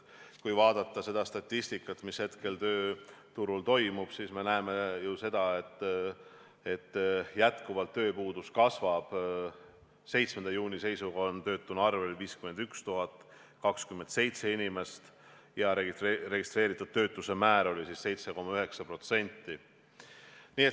Kui vaadata statistikat, mis hetkel tööturul toimub, siis me näeme ju seda, et jätkuvalt tööpuudus kasvab, 7. juuni seisuga oli töötuna arvel 51 027 inimest ja registreeritud töötuse määr oli siis 7,9%.